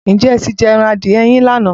Ǹjẹ́ ẹ ti jẹ ẹran adìẹ yín ní àná?